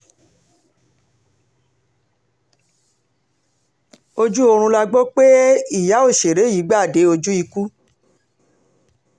ojú oorun la gbọ́ pé ìyá òṣèré yìí gbà dé ojú ikú